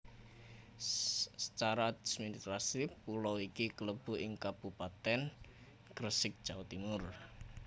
Secara administratif pulo iki klebu ing Kabupatèn Gresik Jawa Timur